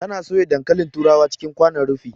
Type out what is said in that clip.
Ta na soya dankalin turawa cikin kwanon rufi